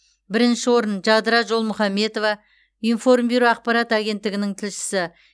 бірінші орын жадыра жолмұхаметова информбюро ақпарат агенттігінің тілшісі